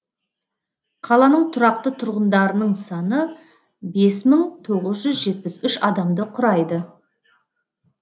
қаланың тұрақты тұрғындарының саны бес мың тоғыз жүз жетпіс үш адамды құрайды